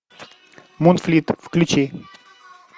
монфлит включи